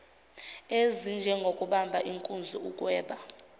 ezinjengokubamba inkunzi ukweba